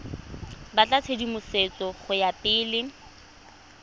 batla tshedimosetso go ya pele